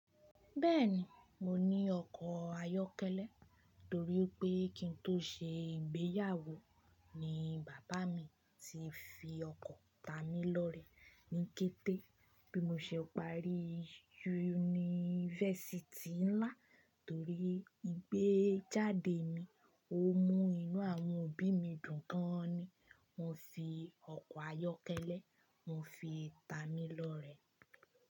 Bẹ́ẹ̀ni, mo ní ọkọ̀ ayọ́kẹ́lẹ́ torí pé kí n tó ṣe ìgbéyàwó ni bàbá mi ti fi ọkọ̀ tamílọ́rẹ̀ ní kété bí mo ṣe parí yunifásítì ńlá torí ìgbéjáde mi, ó mú inú àwọn òbí mi dùn gan ni. Won fi ọkọ̀ ayọ́kẹ́lẹ́, won fi tamílọ́rẹ̀.